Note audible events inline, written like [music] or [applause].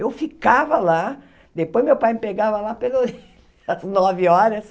Eu ficava lá, depois meu pai me pegava lá pelas [laughs] nove horas.